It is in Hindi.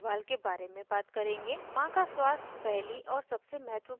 माँ का स्वास्थ पहली और सबसे महत्वपूर्ण बात है